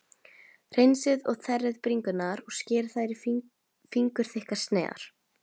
Hreinsið og þerrið bringurnar og skerið þær í fingurþykkar sneiðar.